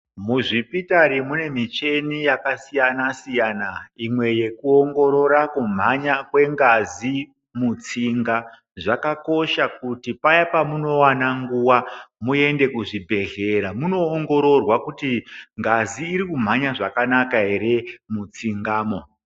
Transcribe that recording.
Muzvipitari mune micheni yakasiyana siyana imwe yekuongorora kumhanya kwengazi mutsinga zvakakosha kuti paya pamunowana nguwa muende muzvibhedhlera munoongororwa kuti ngazi irikumhanya zvakanaka ere mutsingamwo.